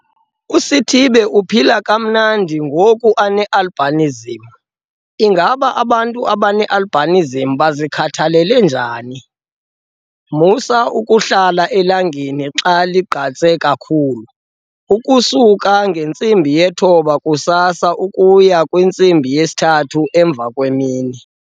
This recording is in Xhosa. USithibe uphila kamnandi ngoku ane-albinism. Ingaba abantu abane-albinism bazikhathalela njani? Musa ukuhlala elangeni xa ligqatse kakhulu, ukusuka ngo-9 kusasa ukuya ngo-3 emva kwemini.